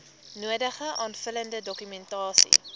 nodige aanvullende dokumentasie